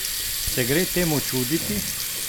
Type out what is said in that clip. Se gre temu čuditi?